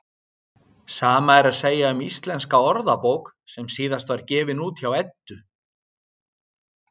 Sama er að segja um Íslenska orðabók sem síðast var gefin út hjá Eddu.